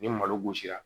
Ni malo gosira